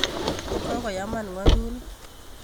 Kokoyaman ngwo'duni